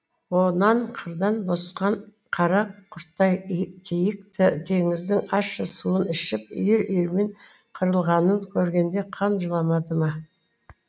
онан қырдан босқан қара құрттай киік теңіздің ащы суын ішіп үйір үйірімен қырылғанын көргенде қан жыламады ма